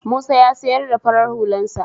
Musa ya sayar da farar hularsa.